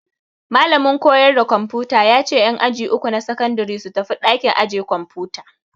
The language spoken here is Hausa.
Malamin koyarda kwamfuta ya ce en aji uku na sakandare su tafi ɗakin aje kwamfuta